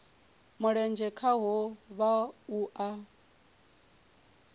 mulenzhe khaho vha o a